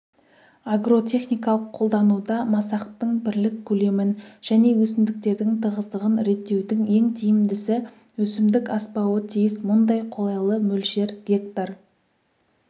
агротехникалық қолдануда масақтың бірлік көлемін және өсімдіктердің тығыздығын реттеудің ең тиімдісі өсімдік аспауы тиіс мұндай қолайлы мөлшер гектар